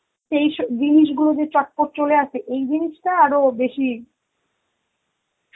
says~ জিনিসগুলো যে চটপট চলে আসে, এই জিনিসটা আরো বেশি